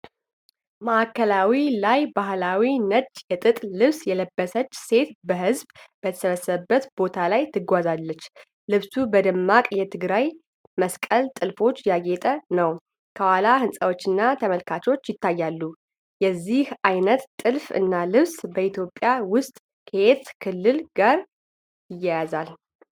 ማዕከላዊ ላይ ባህላዊ ነጭ የጥጥ ልብስ የለበሰች ሴት በህዝብ በተሰበሰበበት ቦታ ላይ ትጓዛለች። ልብሱ በደማቅ የትግራይ መስቀል ጥልፎች ያጌጠ ነው። ከኋላ ህንጻዎችና ተመልካቾች ይታያሉ። የዚህ አይነት ጥልፍ እና ልብስ በኢትዮጵያ ውስጥ ከየትኛው ክልል ጋር ይያያዛል?